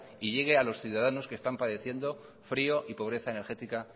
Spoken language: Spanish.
y llegue a los ciudadanos que están padeciendo frío y pobreza energética